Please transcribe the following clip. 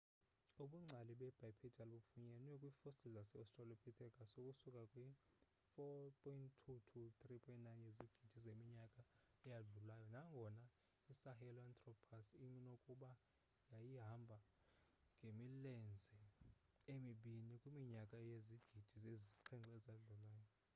ubungcali bebipedal bufunyenwe kwii-fossil zase-australopithecus ukusuka kwi-4.2-3.9 yezigidi zeminyaka eyadlulayo nangona isahelanthropus inokuba yayihamba ngemilenze emibini kwiminyaka ezizigidi ezisixhenxe eyadlulayo